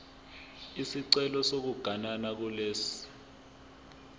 isicelo sokuganana kulesi